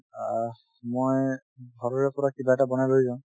অহ্, মই ঘৰৰে পৰা কিবা এটা বনাই লৈ যাওঁ